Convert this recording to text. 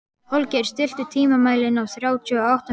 Holgeir, stilltu tímamælinn á þrjátíu og átta mínútur.